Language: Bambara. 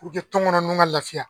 puruke tɔnkɔnɔ nunnu ka lafiya